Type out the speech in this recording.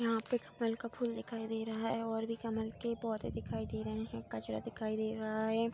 यहां पे कमल का फूल दिखाई दे रहा है और भी कमल के पौधे दिखाई दे रहे हैं कचरा दिखाई दे रहा है।